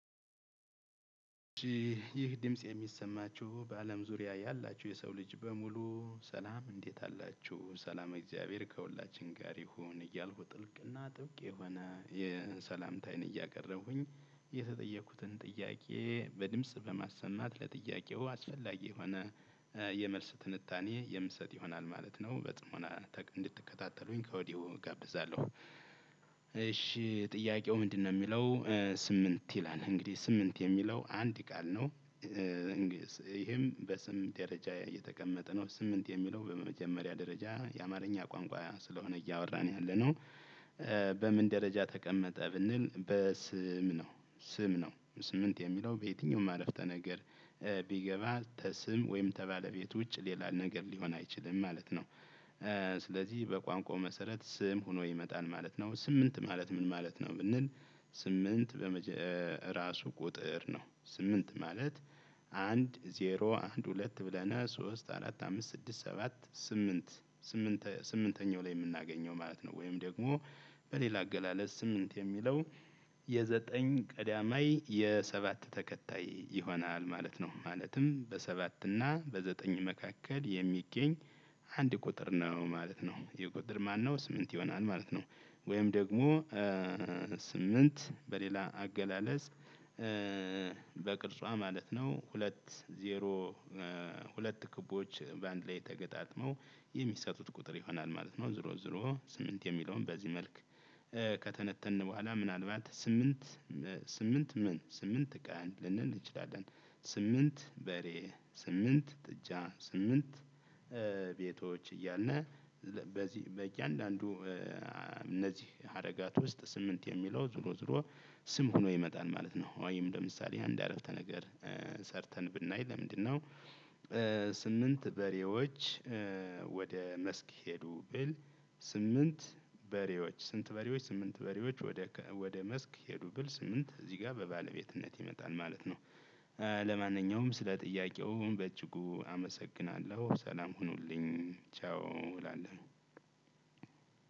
ይህ ድምጽ የሚሰማችሁ በአለም ዙሪያ ያላችሁ የሰው ልጅ በሙሉ ሰላም እንዴት አላችሁ? ሰላም እግዚአብሔር ከሁላችን ጋር ይሁን እያልኩ ጥልቅና ጥብቅ የሆነ የሰላምታየን እያቀረቡኝ የተጠየኩትን ጥያቄ በድምጽ በማሰማት ለጥያቄው አስፈላጊ የሆነ የመልስ ትንታኔ የምሰጥ ይሆናል ማለት ይሆናል ማለት ነው። በፅሞና አንድትከታተሉኝ ከወዲሁ እጋብዛለሁ። አሺ ጥያቄው ምንድን ነው የሚለው? ስምንት ይላል አንግዲህ ስምንት የሚለው አንድ ቃል ነው። ይሄም በስም ደረጃ እየተቀመጠ ነው ስምንት የሚለው በመጀመሪያ ደረጃ የአማርኛ ቋንቋ ስለሆነ እያወራን ያለነው። በምን ደረጃ ተቀመጠ ብንል በስም ነው። ስም ነው ስምንት የሚለው በየትኛውም አረፍተ ነገር ቢገባ ተስም ወይም ተባለቤት ውጭ ሌላ ነገር ሊሆን አይችልም ማለት ነው። ስለዚህ በቋንቋው መሰረት ስም ሆኖ ይመጣል ማለት ነው። ስምንት ማለት ምን ማለት ነው ብንል? ስምንት በመጀ ራሱ ቁጥር ነው። ስምንት ማለት አንድ ዜሮ አንድ ሁለት ብለነ ሶስት አራት አምስት ስድስት ሰባት ስምንት። ስምንተኛው ላይ የምናገኘው ማለት ነው። ወይም ደግሞ በሌላ አገላለጽ ስምንት የሚለው የዘጠኝ ቀዳማይ የሰባት ተከታይ ይሆናል ማለት ነው። ማለትም በሰባት እና በዘጠኝ መካከል የሚገኝ አንድ ቁጥር ነው ማለት ነው። የቁጥር ማነው ስምንት ይሆናል ማለት ነው። ወይም ደግሞ ስምንት በሌላ አገላለጽ በቅርጿ ማለት ነው ሁለት ዜሮ ሁለት ክቦዎች በአንድ ላይ ተገጣጥመው የሚሰጡት ቁጥር ይሆናል ማለት ነው። ዙሮ ዙሮ ስምንት የሚለውን በዚህ መልክ ከተነተንን በኋላ ምናልባት ስምንት ስምንት ምን ስምንት ቀን ልንል እንችላለን። ስምንት በሬ ስምንት ጥጃ ስምንት ቤቶች እያልነ በዚህ በእያንዳንዱ እነዚህ ሀረጋት ውስጥ ስምንት የሚለው ዙሮ ዙሮ ስም ሆኖ ይመጣል ማለት ነው። አዋይም ለምሳሌ አንድ አረፍተ ነገር ሰርተን ብናይ ለምንድነው? ስምንት በሬዎች ወደ መስክ ሄዱ ብል። ስምንት በሬዎች ስንት በሬዎች ስምንት በሬዎች ወደ ወደ መስክ ሄዱ ብል ስምንት እዚህ ጋር በባለቤትነት ይመጣል ማለት ነው። ለማንኛውም ስለ ጥያቄው እኔ በጅጉ አመሰግናለሁ ሰላም ሁኑልኝ ቻው እላለሁ።